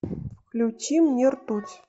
включи мне ртуть